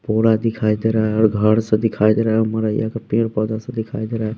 पूरा दिखाई दे रहा है और घर से दिखाई दे रहा है मरैया का पेड़ पौधा से दिखाई दे रहा है।